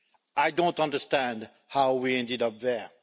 I don't understand how we ended up there.